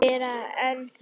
Meira en það.